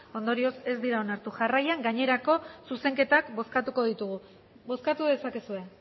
ondorioz ez dira onartu jarraian gainerako zuzenketak bozkatuko ditugu bozkatu dezakezue